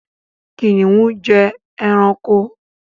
Kìnìún jẹ́ ẹranko.